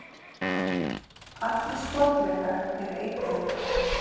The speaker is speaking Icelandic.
allir sporðdrekar eru eitraðir